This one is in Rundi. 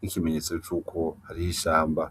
nk'ikimenyetso cuko hariho ishamba.